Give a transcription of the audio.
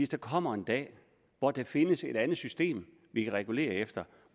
der kommer en dag hvor der findes et andet system vi kan regulere efter